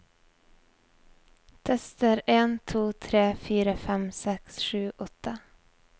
Tester en to tre fire fem seks sju åtte